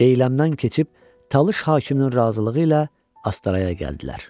Deyləmdən keçib Talış hakiminin razılığı ilə Astaraya gəldilər.